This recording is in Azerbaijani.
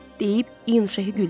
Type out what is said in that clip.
deyib, İyun Şehi güldü.